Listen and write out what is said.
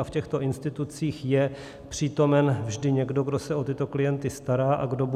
A v těchto institucích je přítomen vždy někdo, kdo se o tyto klienty stará a kdo